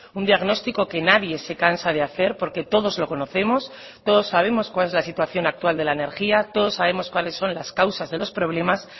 un diagnóstico que nadie se cansa de hacer porque todos lo conocemos todos sabemos cuál es la situación actual de la energía todos sabemos cuáles son las causas de los problemas